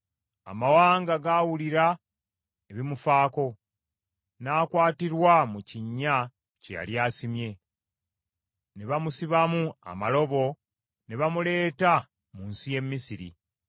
Amawanga gaawulira ebimufaako, n’akwatirwa mu kinnya kye yali asimye, ne bamusibamu amalobo ne bamuleeta mu nsi y’e Misiri.